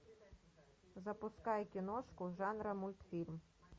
запускай киношку жанра мультфильм